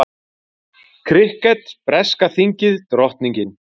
Krikket, breska þingið, drottningin.